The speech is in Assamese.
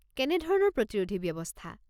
কেনে ধৰণৰ প্ৰতিৰোধী ব্যৱস্থা?